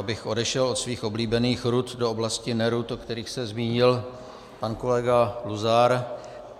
Abych odešel od svých oblíbených rud do oblasti nerud, o kterých se zmínil pan kolega Luzar,